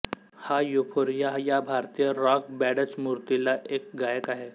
हा युफोरिया या भारतीय रॉक बॅंडचमूतील एक गायक आहे